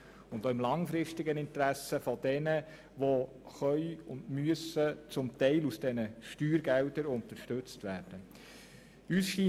Dies auch im langfristigen Interesse derjenigen, die zum Teil mit diesen Steuergeldern unterstützt werden können und müssen.